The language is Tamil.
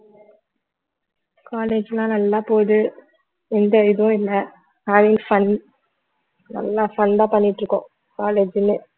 college எல்லாம் நல்லா போகுது எந்த இதுவும் இல்லை fun நல்லா fun தான் பண்ணிட்டு இருக்கோம் college ன்னு